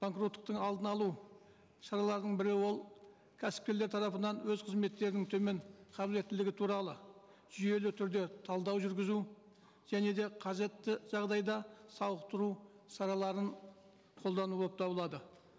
банкроттықтың алдын алу шараларының бірі ол кәсіпкерлер тарапынан өз қызметтерінің төмен қабілеттілігі туралы жүйелі түрде талдау жүргізу және де қажетті жағдайда сауықтыру шараларын қолдану болып табылады